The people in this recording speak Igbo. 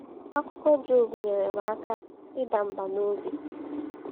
Akụkọ Job nyere m aka ịda mbà n’obi.